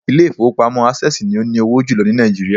Ilé ìfowópamọ́ Access ni ó ní owó jùlọ ní Nàìjíríà